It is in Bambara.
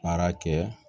Baara kɛ